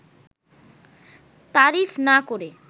তারিফ না করে